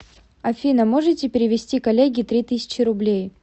афина можете перевести коллеге три тысячи рублей